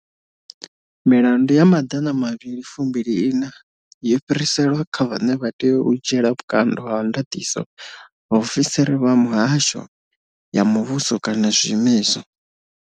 Milandu ya 224 yo fhiriselwa kha vhane vha tea u dzhiela vhukando ha ndaṱiso vhaofisiri vha mihasho ya muvhu so kana zwiimiswa.